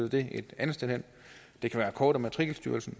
det et andet sted hen det kan være kort og matrikelstyrelsen